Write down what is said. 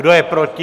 Kdo je proti?